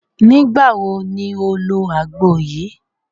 Nígbàwo ni o lo agbo yìí?